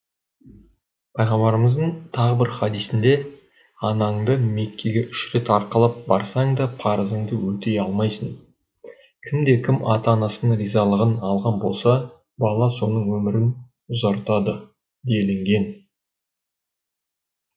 пайғамбарымыздың тағы бір хадисінде анаңды меккеге үш рет арқалап барсаң да парызыңды өтей алмайсың кімде кім ата анасының ризалығын алған болса бала соның өмірін ұзартады делінген